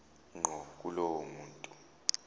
ngqo kulowo muntu